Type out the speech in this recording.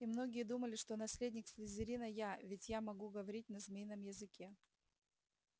и многие думали что наследник слизерина я ведь я могу говорить на змеином языке